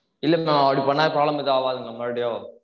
இல்ல maam அப்படி பண்ணா problem ஏதும் ஆவதுங்களா மறுபடியும்